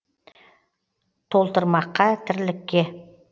толтырмаққа тірлікке